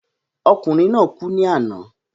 Ọkùnrin naa kú ní àná